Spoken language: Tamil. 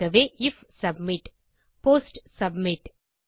ஆகவே ஐஎஃப் சப்மிட் போஸ்ட் சப்மிட்